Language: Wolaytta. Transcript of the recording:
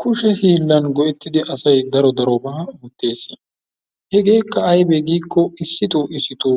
Kushen hiillan go'ettidi asay daro darobaa ootteesi. hegeekka aybee giiko issito issito